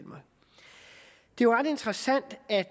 jo ret interessant at